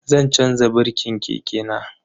Zan chanza birkin keke na.